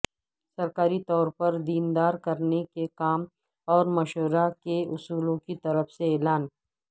سرکاری طور پر دیندار کرنے کے کام اور مشورہ کے اصولوں کی طرف سے اعلان